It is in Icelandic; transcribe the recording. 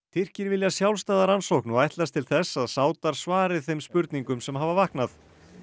Tyrkir vilja sjálfstæða rannsókn og ætlast til þess að Sádar svari þeim spurningum sem hafa vaknað